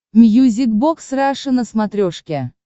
мьюзик бокс раша на смотрешке